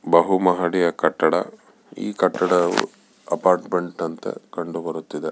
ಬಹು ಮಹಡಿಯ ಕಟ್ಟದ ಈ ಕಟ್ಟಡವು ಅಪಾರ್ಟ್ಮೆಂಟ್ ಅಂತೆ ಕಂಡುಬರುತಿದೆ.